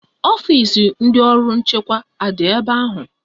Ọfisi ndị ọrụ nchekwa adị ebe ahụ?